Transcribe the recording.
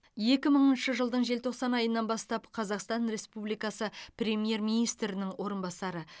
екі мыңыншы жылдың желтоқсан айынан бастап қазақстан республикасы премьер министрінің орынбасары